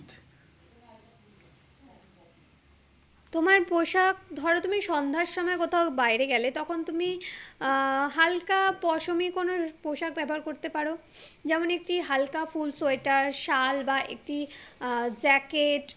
তোমার পোশাক ধরো তুমি সন্ধ্যার সময় কোথায় বাইরে গেলে তখন তুমি আহ হালকা পশমী কোনো পোশাক ব্যবহার করতে পারো যেমন একটু হালকা ফুল সোয়েটার সাল বা একটি আহ jacket